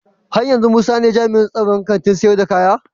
Haryanzu musa ne jami'in tsaron Kantin sayar da kaya?